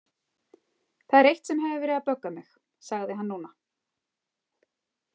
Það er eitt sem hefur verið að bögga mig, sagði hann núna.